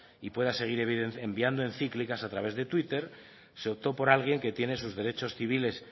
y pueda seguir enviando encíclicas a través de twitter se optó por alguien que tiene sus derechos civiles